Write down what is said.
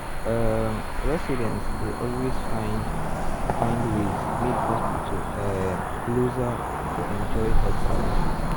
um residents dey always find find ways make hospital um closer to enjoy health services.